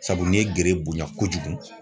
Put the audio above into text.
Sabu ne ye gere bonya kojugu